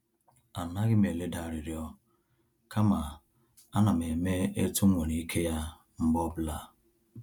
A naghim eleda arịrịọ kama a nam eme etu m nwere ike ya mgbe ọbụla